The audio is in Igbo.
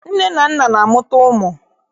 Nne na nna na-amụta ụmụ